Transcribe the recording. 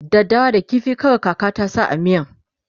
daddawa da ƙifi kawai kaka ta sa a miyan